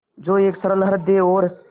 जो एक सरल हृदय और